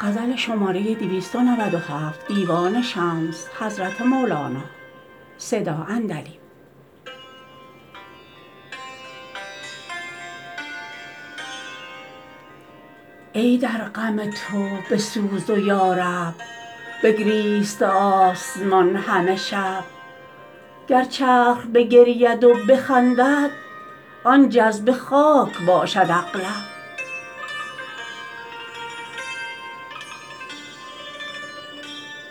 ای در غم تو به سوز و یارب بگریسته آسمان همه شب گر چرخ بگرید و بخندد آن جذبه خاک باشد اغلب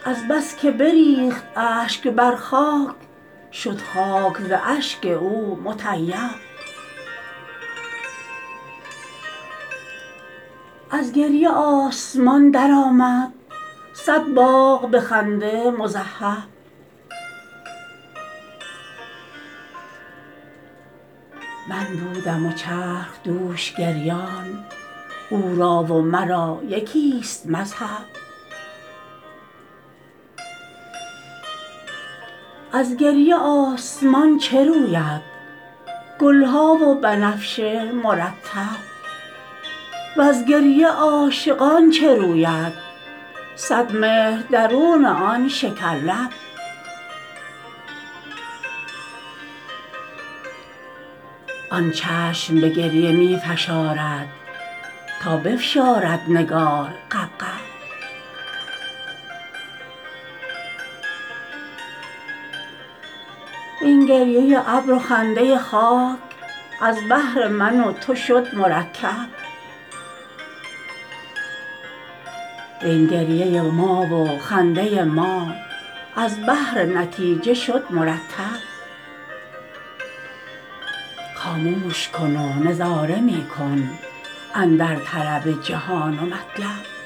از بس که بریخت اشک بر خاک شد خاک ز اشک او مطیب از گریه آسمان درآمد صد باغ به خنده مذهب من بودم و چرخ دوش گریان او را و مرا یکی ست مذهب از گریه آسمان چه روید گل ها و بنفشه مرطب وز گریه عاشقان چه روید صد مهر درون آن شکرلب آن چشم به گریه می فشارد تا بفشارد نگار غبغب این گریه ابر و خنده خاک از بهر من و تو شد مرکب وین گریه ما و خنده ما از بهر نتیجه شد مرتب خاموش کن و نظاره می کن اندر طلب جهان و مطلب